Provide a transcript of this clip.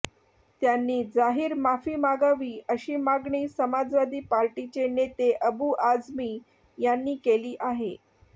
त्यांनी जाहीर माफी मागावी अशी मागणी समाजवादी पार्टीचे नेते अबू आझमी यांनी केली आहे